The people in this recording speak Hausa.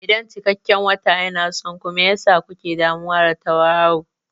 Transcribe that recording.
Idan cikakken wata yana son ku, me yasa kuke damuwa da tauraro?